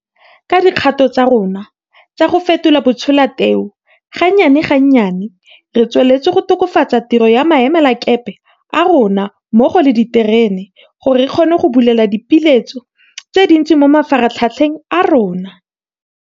Ka dikgato tsa rona tsa go fetola batsholateu, gannyane ga nnyane re tsweletse go tokafatsa tiro ya maemelakepe a rona mmogo le ya diterene gore re kgone go bulela dipeeletso tse dintsi mo mafaratlhatlheng a rona.